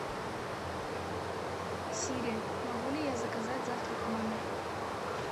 сири могу ли я заказать завтрак в номер